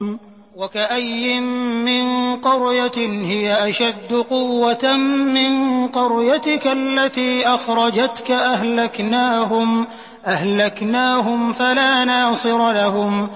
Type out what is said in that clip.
وَكَأَيِّن مِّن قَرْيَةٍ هِيَ أَشَدُّ قُوَّةً مِّن قَرْيَتِكَ الَّتِي أَخْرَجَتْكَ أَهْلَكْنَاهُمْ فَلَا نَاصِرَ لَهُمْ